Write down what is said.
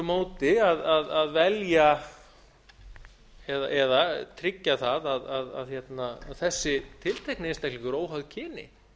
móti að velja eða tryggja það að þessi tiltekni einstaklingur óháð kyni